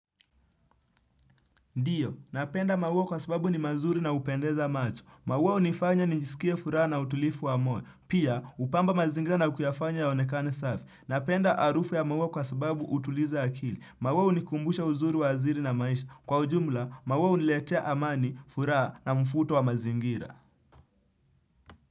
Ndiyo, napenda maua kwa sababu ni mazuri na hupendeza macho. Maua hunifanya nijisikia furaha na utulivu wa moyo. Pia, hupamba mazingira na kuyafanya yaonekane safi. Napenda arufu ya mawao kwa sababu utuliza akili. Maua hunikumbusha uzuri wa aziri na maisha. Kwa ujumla, maua huniletea amani, furaha na mfuto wa mazingira.